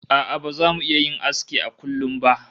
A'a baza mu iya yin aski a kullum ba